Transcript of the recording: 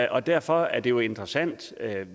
og derfor er det jo interessant